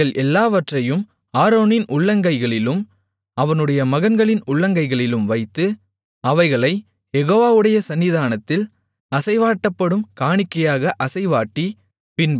அவைகள் எல்லாவற்றையும் ஆரோனின் உள்ளங்கைகளிலும் அவனுடைய மகன்களின் உள்ளங்கைகளிலும் வைத்து அவைகளைக் யெகோவாவுடைய சந்நிதானத்தில் அசைவாட்டப்படும் காணிக்கையாக அசைவாட்டி